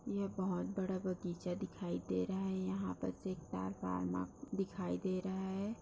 यह बहुत बड़ा बगीचा दिखाई दे रहा है यहां पर दिखाई दे रहा है।